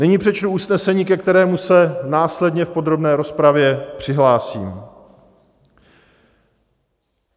Nyní přečtu usnesení, ke kterému se následně v podrobné rozpravě přihlásím: